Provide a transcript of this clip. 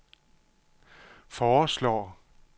foreslår